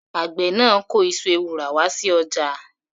Àgbẹ̀ náà kó iṣu ewùrà wá sí ọjà.